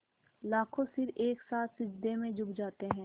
लाखों सिर एक साथ सिजदे में झुक जाते हैं